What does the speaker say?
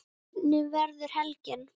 Hvernig verður helgin?